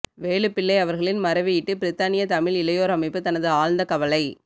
வேலுப்பிள்ளை அவர்களின் மறைவையிட்டு பிரித்தானிய தமிழ் இளையோர் அமைப்பு தனது ஆழ்ந்த கவலை